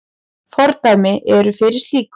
Fordæmi eru fyrir slíku.